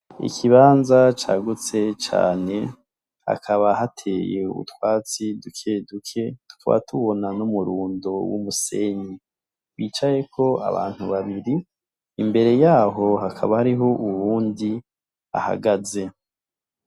Ikibanza cagutse cane hakaba hateye utwatsi dukeduke, tukaba tubona n'umurundo w'umusenyi bicayeko abantu babiri imbere yabo hakaba hariho uwundi ahagaze.